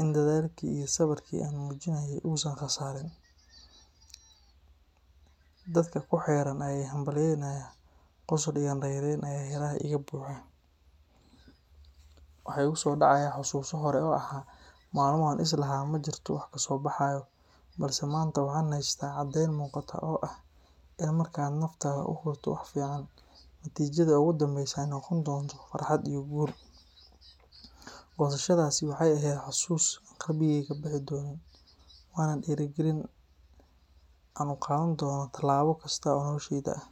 in dadaalkii iyo sabrkii aan muujiyay uusan khasaarin. Dadka ku xeeran ayaa ii hambalyeynaya, qosol iyo raynrayn ayaa hareeraha iga buuxa. Waxaa igu soo dhacaya xasuuso hore oo ahaa maalmo aan is lahaa ma jirto wax kasoo baxaya, balse maanta, waxaan haystaa caddayn muuqata oo ah in marka aad naftaada u hurto wax fiican, natiijada ugu dambeysa ay noqon doonto farxad iyo guul. Goosashadaasi waxay ahayd xasuus aan qalbigayga ka bixi doonin, waana dhiirigelin aan u qaadan doono tallaabo kasta oo noloshayda ah.